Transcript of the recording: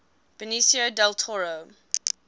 benicio del toro